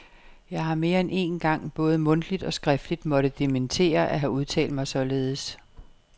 Jeg har mere end én gang både mundtligt og skriftligt måtte dementere at have udtalt mig således.